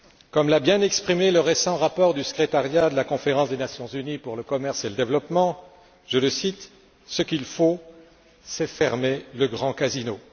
Comme l'a bien exprimé le récent rapport du secrétariat de la Conférence des Nations unies pour le commerce et le développement, je le cite ce qu'il faut, c'est fermer le grand casino.